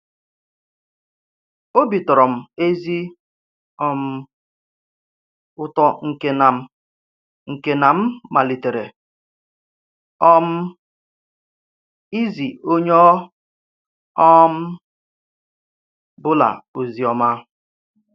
Òbì tọ̀rọ̀ m ezi um ùtò nke na m nke na m malitèrè um ìzí onye ọ̀ um bụla ozi ọma.